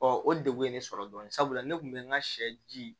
o degun ye ne sɔrɔ dɔɔnin sabula ne kun bɛ n ka sɛ ji